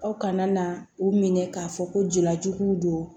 Aw kana na u minɛ k'a fɔ ko jeliya juguw don